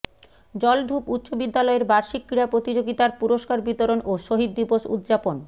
জলঢুপ উচ্চ বিদ্যালয়ের বার্ষিক ক্রীড়া প্রতিযোগিতার পুরষ্কার বিতরণ ও শহীদ দিবস উদযাপন